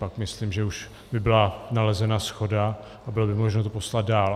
Pak myslím, že už by byla nalezena shoda a bylo by možno to poslat dál.